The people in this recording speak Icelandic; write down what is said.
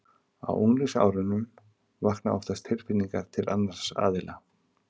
Á unglingsárunum vakna oftast tilfinningar til annars aðila.